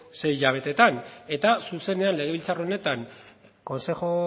sei hilabeteetan eta zuzenean legebiltzar honetan consejo